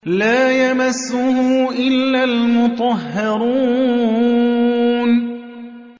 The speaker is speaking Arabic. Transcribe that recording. لَّا يَمَسُّهُ إِلَّا الْمُطَهَّرُونَ